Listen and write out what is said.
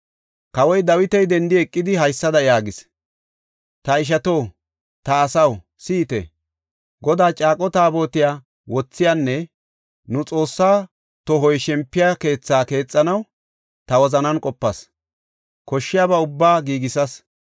Kawoy Dawiti dendi eqidi haysada yaagis; “Ta ishato, ta asaw, si7ite! Godaa caaqo Taabotiya wothiyanne nu Xoossaa tohoy shempiya keethaa keexanaw ta wozanan qopas; koshshiyaba ubbaa giigisas.